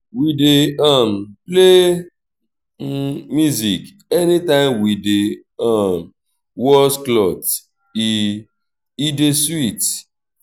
we dey um play music anytime wey we dey um wash clothes e e dey sweet.